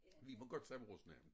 Vi må godt sige vores navne